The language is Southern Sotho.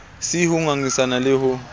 c ho ngangisana le ho